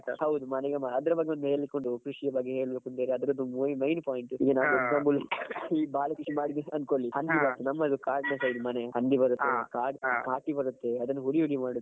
ಹೌದು ಮನಿಗೆ ಮಾ~ ಅದ್ರ ಬಗ್ಗೆ ಒಂದು ಹೇಳಿಕ್ಕೆ ಉಂಟು ಕೃಷಿ ಬಗ್ಗೆ ಹೇಳ್ಬೇಕಂದ್ರೆ ಅಂದ್ರ main point ಈ ಬಾರಿ ಕೃಷಿ ಮಾಡಿದ್ದೆ ಅಂತ ಅನ್ಕೋಳ್ಳಿ ಹಂದಿ ಬರುತ್ತೆ ನಮ್ಮದು ಕಾಡಿನ side ಮನೆ ಹಂದಿ ಬರುತ್ತೆ. ಕಾಡ~ ಕಾಟಿ ಬರುತ್ತೆ ಅದನ್ನು ಹುಡಿ ಹುಡಿ ಮಾಡುದು.